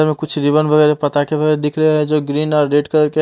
कुछ पताखे दिख रहे है जो ग्रीन और रेड कलर के --